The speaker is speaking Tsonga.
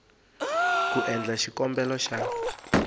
loko u endla xikombelo xa